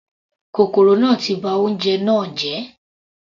Kòkòrò náà ti ba oúnjẹ náà jẹ́.